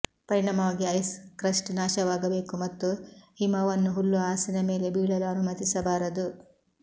ಪರಿಣಾಮವಾಗಿ ice crust ನಾಶವಾಗಬೇಕು ಮತ್ತು ಹಿಮವನ್ನು ಹುಲ್ಲುಹಾಸಿನ ಮೇಲೆ ಬೀಳಲು ಅನುಮತಿಸಬಾರದು